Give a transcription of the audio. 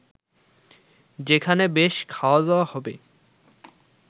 যেখানে বেশ খাওয়া-দাওয়া হবে